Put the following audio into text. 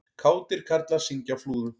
Kátir karlar syngja á Flúðum